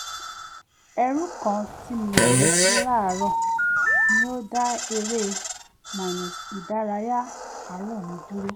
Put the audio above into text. ẹrù kan tí mi ò retí láàárọ̀ ni ó dá eré-ìdárayá àárọ̀ mi dúró